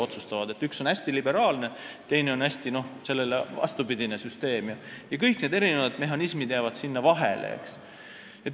Üks süsteem on hästi liberaalne, teine on täpselt vastupidine ja kõik muud mehhanismid jäävad sinna vahele.